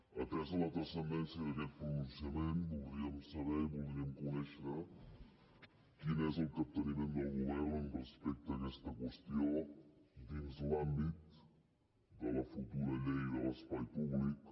atesa la transcendència d’aquest pronunciament voldríem saber i voldríem conèixer quin és el capteniment del govern respecte a aquesta qüestió dins l’àmbit de la futura llei de l’espai públic